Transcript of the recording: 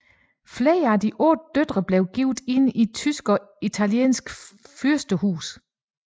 Flere af de otte døtre blev gift ind i tyske og italienske fyrstehuse